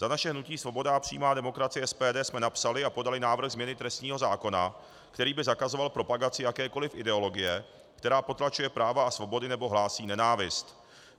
Za naše hnutí Svoboda a přímá demokracie, SPD, jsme napsali a podali návrh změny trestního zákona, který by zakazoval propagaci jakékoliv ideologie, která potlačuje práva a svobody nebo hlásí nenávist.